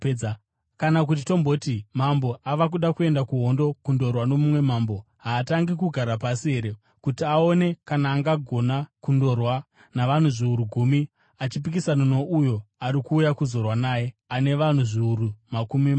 “Kana kuti tomboti mambo ava kuda kuenda kuhondo kundorwa nomumwe mambo. Haatangi kugara pasi here kuti aone kana angagona kundorwa navanhu zviuru gumi, achipikisana nouyo ari kuuya kuzorwa naye ane vanhu zviuru makumi maviri?